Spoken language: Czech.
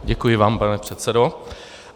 Děkuji vám, pane předsedo.